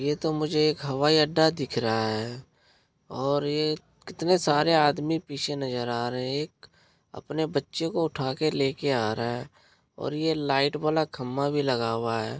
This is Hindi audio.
यह तो मुझे एक हवाई अड्डा दिख रहा है और एक कितने सारे आदमी पीछे नज़र आ रहे हैं। एक अपने बच्चे को उठा के लेके आ रहा है और यह लाइट वाला खंभा भी लगा हुआ है।